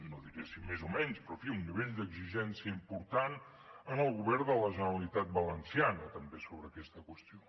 no diré si més o menys però en fi un nivell d’exigència important en el govern de la generalitat valenciana també sobre aquesta qüestió